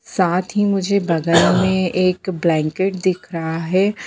--साथ ही मुझे बगल में एक ब्लैंकेट दिख रहा है।